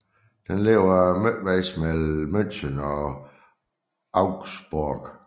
Den ligger midtvejs mellem München og Augsburg